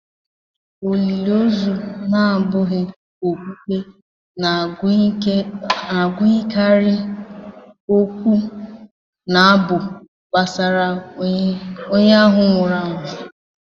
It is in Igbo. Olili ozu na-abụghị okpukpe na-agụnyekarị okwu na abụ gbasara onye ahụ nwụrụ anwụ